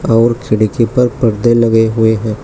और खिड़की पर पर्दे लगे हुए हैं।